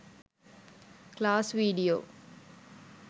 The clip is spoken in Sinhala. class video